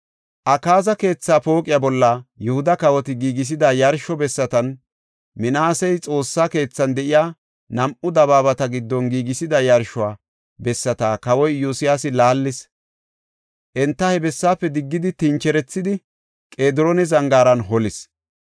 Akaaza keethaa pooqiya bolla Yihuda kawoti giigisida yarsho bessatan Minaasey Xoossa keethan de7iya nam7u dabaabata giddon giigisida yarsho bessata Kawoy Iyosyaasi laallis. Enta he bessaafe diggidi tincherethidi, Qediroona Zangaaran holis.